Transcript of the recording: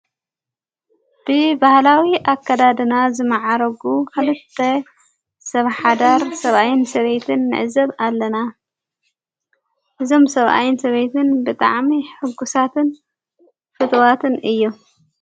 ብባህላዊ ኣከዳድና ዝመዓረጉ ኽልተ ሰብ ሓዳር ሰብኣይን ሰበይትን ምዕዘብ ኣለና እዞም ሰብኣይን ሰበይትን ብጠዓሚ ሕጉሳትን ፍትዋትን እዩ።